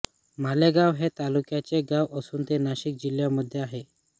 मालेगाव हे तालुक्याचे गाव असून ते नाशिक जिल्ह्यामध्ये आहे